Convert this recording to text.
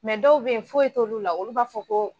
Mɛ dɔw bɛ yen foyi t'olu la, olu b'a fɔ ko